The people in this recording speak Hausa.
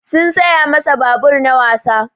Sun saya masa babur na wasa.